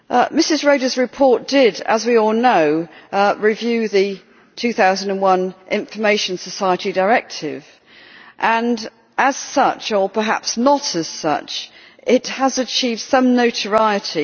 Ms Reda's report, as we all know, reviewed the 2001 Information Society Directive and as such, or perhaps not as such, it has achieved some notoriety.